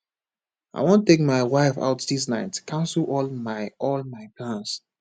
i wan take my wife out dis night cancel all my all my plans